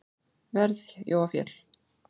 verð Jóa Fel.